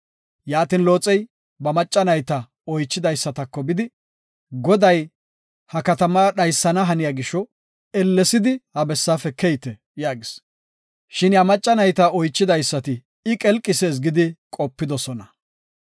Yaatin Looxey ba macca nayta oychidaysatako bidi, “Goday, ha katama dhaysana haniya gisho ellessidi ha bessaafe keyte” yaagis. Shin iya macca nayta oychidaysati I qelqisees gidi qopidosona.